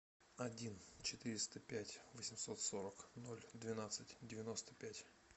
один четыреста пять восемьсот сорок ноль двенадцать девяносто пять